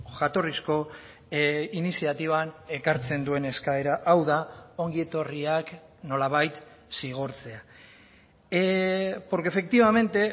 jatorrizko iniziatiban ekartzen duen eskaera hau da ongietorriak nolabait zigortzea porque efectivamente